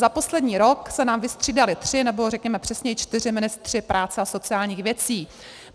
Za poslední rok se nám vystřídali tři, nebo řekněme přesněji čtyři ministři práce a sociálních věcí.